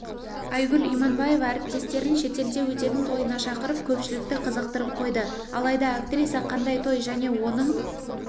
айгүл иманбаева әріптестерін шетелде өтетін тойына шақырып көпшілікті қызықтырып қойды алайда актриса қандай той және оның